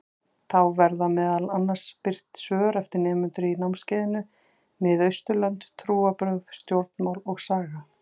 Þá verða meðal annars birt svör eftir nemendur í námskeiðinu Mið-Austurlönd: Trúarbrögð, stjórnmál og saga.